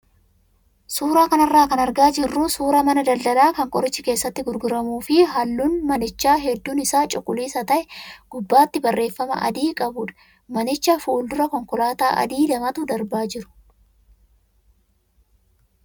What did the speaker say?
Suuraa kanarraa kan argaa jirru suuraa mana daldalaa kan qorichi keessatti gurguramuu fi halluun manichaa hedduun isaa cuquliisa ta'ee gubbaatti barreeffama adii qabudha. Manicha fuuldura konkolaattota adii lamatu darbaa jiru.